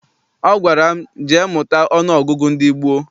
Ọ gwara m, jee mụta ọnụọgụgụ ndị gboo!